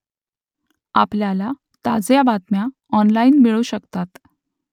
आपल्याला ताज्या बातम्या ऑनलाइन मिळू शकतात